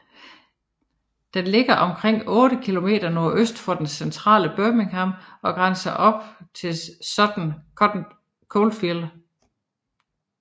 Den ligger omkring 8 km nordøst for det centrale Birmingham og grænser op til Sutton Coldfield